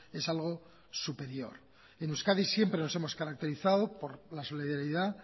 es algo superior en euskadi siempre nos hemos caracterizado por la solidaridad